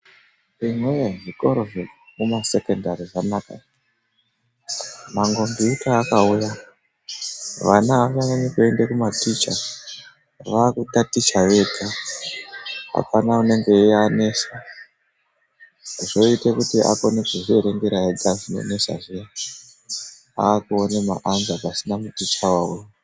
Imwi woye! Zvikora zvekumasekondari zvakanaka. Makhombiyuta akauya, vana avanganyanyi kuende kumaticha. Vaakutaticha vega, apana unenge eianesa. Zvoite kuti akone kuzvierengera ega zvinonesa zviya, aakuone maanza pasina muticha wawo.